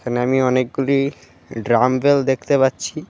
এখানে আমি অনেকগুলি ড্রাম্পবেল দেখতে পাচ্ছি.